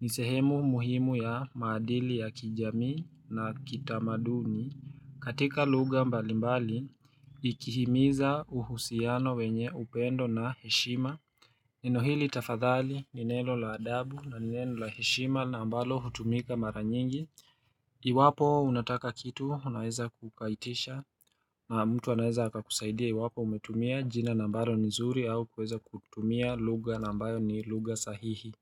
Ni sehemu muhimu ya madili ya kijamii na kitamaduni katika lugha mbalimbali ikihimiza uhusiano wenye upendo na heshima. Neno hili tafadhali ni neno la adabu na ni neno la heshima na ambalo hutumika mara nyingi Iwapo unataka kitu unaeza ku ukaitisha na mtu anaweza akakusaidia iwapo umetumia jina na ambalo ni zuri au kuweza kutumia lugha na ambayo ni lugha sahihi.